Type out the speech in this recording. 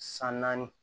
San naani